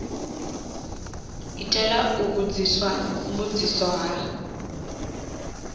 itela u vhudziswa mbudziso ha